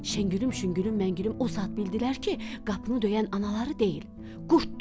Şəngülüm, şüngülüm, məngülüm o saat bildilər ki, qapını döyən anaları deyil, qurddur.